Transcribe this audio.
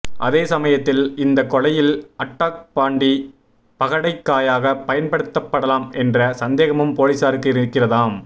அதேசமயத்தில் இந்த கொலையில் அட்டாக் பாண்டி பகடைக்காயாக பயன்படுத்தப்படலாம் என்ற சந்தேகமும் போலீசாருக்கு இருக்கிறதாம்